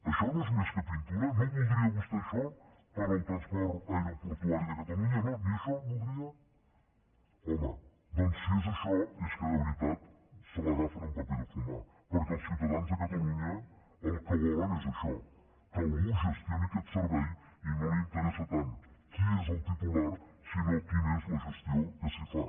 això no és més que pintura no ho voldria vostè això per al transport aeroportuari de catalunya no ni això voldria home doncs si és això és que de veritat se l’agafen amb paper de fumar perquè els ciutadans de catalunya el que volen és això que algú gestioni aquest servei i no els interessa tant qui és el titular sinó quina és la gestió que s’hi fa